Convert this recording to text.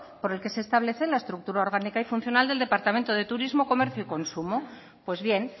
por el que se establece la estructura orgánica y funcional del departamento de turismo comercio y consumo pues bien